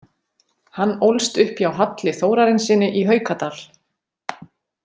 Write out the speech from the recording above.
Hann ólst upp hjá Halli Þórarinssyni í Haukadal.